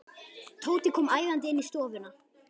Tóti kom æðandi inn í stofuna.